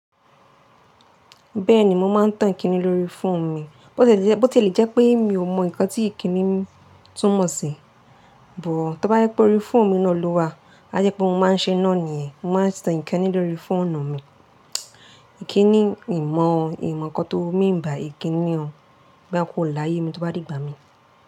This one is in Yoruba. Bẹ́ẹ̀ni, mo máa ń tan Ìkíni lórí fóònù mi. Bó tì lè jẹ́ pé mi ò mọ ǹkan tí Ìkíni tún mọ̀ sí, but tó bá yẹ pé orí fóònù mi náà lọ wá, a yẹ pé mo máa ń ṣe iná nìyẹn. Mo máa ń tan Ìkíni lórí fóònù mi. Ìkíni mi mọ, mi mọ̀ ǹkan tó mean by Ìkíni o, boya kò láyé mi tó bá dìgbà mí.